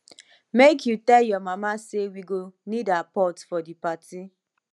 make you tell your mama say we go need her pot for di party